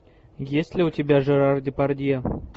есть ли у тебя жерар депардье